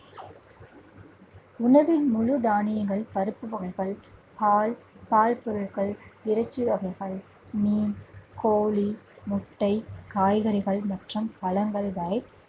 உணவின் முழு தானியங்கள், பருப்பு வகைகள், பால், பால் பொருட்கள், இறைச்சி வகைகள், மீன், கோழி, முட்டை, காய்கறிகள் மற்றும் பழங்கள் வரை